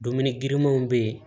Dumuni girimanw bɛ yen